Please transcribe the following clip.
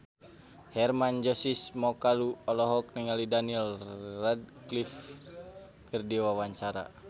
Hermann Josis Mokalu olohok ningali Daniel Radcliffe keur diwawancara